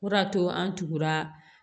O de y'a to an tugura